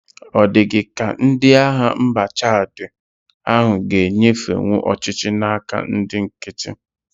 Ọ dị gị ka ndị agha mba Chad a g'enyefenwu ọchịchị na-aka ndị nkiti.